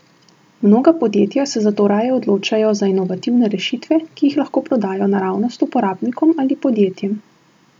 Mnoga podjetja se zato raje odločajo za inovativne rešitve, ki jih lahko prodajo naravnost uporabnikom ali podjetjem.